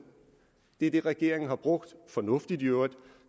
det er det regeringen har brugt fornuftigt i øvrigt